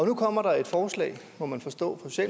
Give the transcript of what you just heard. nu kommer der et forslag må man forstå